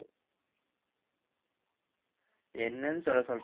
என்னன்னு சொல்ல சொல்~